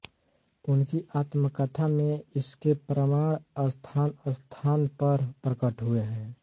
उनकी आत्मकथा में इसके प्रमाण स्थानस्थान पर प्रकट हुए हैं